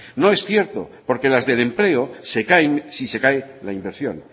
no es cierto porque las del empleo se caen si se cae la inversión